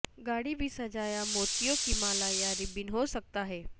گاڑی بھی سجایا موتیوں کی مالا یا ربن ہو سکتا ہے